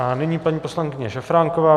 A nyní paní poslankyně Šafránková.